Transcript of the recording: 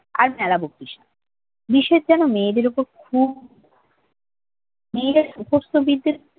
আর মেলা বকিস না। বেশের যেন মেয়েদের উপর খুব মেয়েরা সুকস্তবিদদের